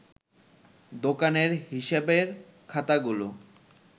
দোকানের হিসেবের খাতাগুলো